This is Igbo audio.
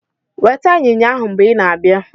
weta inyinya ahu mgbe i na-abịa